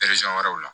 wɛrɛw la